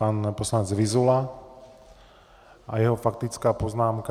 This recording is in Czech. Pan poslanec Vyzula a jeho faktická poznámka.